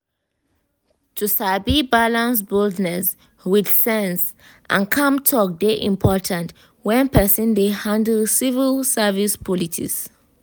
to sabi balance boldness with sense and calm talk dey important when person dey handle civil service politics.